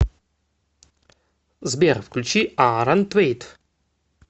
сбер включи аарон твейт